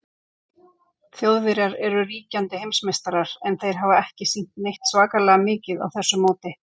Þjóðverjar eru ríkjandi heimsmeistarar, en þeir hafa ekki sýnt neitt svakalega mikið á þessu móti.